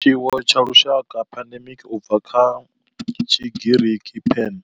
Tshiwo tsha lushaka pandemic, u bva kha Tshigiriki pan,